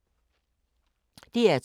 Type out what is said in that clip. DR2